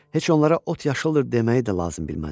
Heç onlara "Ot yaşıldır" deməyi də lazım bilməzdim.